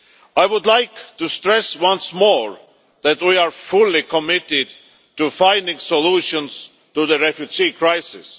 I would like to stress once more that we are fully committed to finding solutions to the refugee crisis.